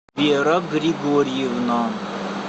вера григорьевна